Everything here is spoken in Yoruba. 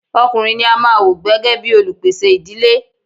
Ọkùnrin ní a máà wò gbẹ́gẹ́ bìí olupèsè ìdílé.